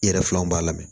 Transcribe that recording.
I yɛrɛ filaw b'a lamɛn